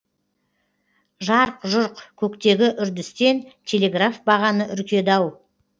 жарқ жұрқ көктегі үрдістен телеграф бағаны үркеді ау